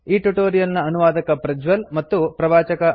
ಈ ಟ್ಯುಟೋರಿಯಲ್ ನ ಅನುವಾದಕ ಪ್ರಜ್ವಲ್ ಮತ್ತು ಪ್ರವಾಚಕ ಐ